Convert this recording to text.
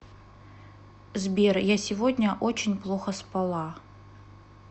сбер я сегодня очень плохо спала